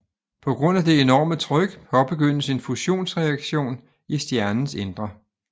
På grund af det enorme tryk påbegyndes en fusionsreaktion i stjernens indre